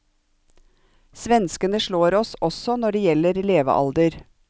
Svenskene slår oss også når det gjelder levealder.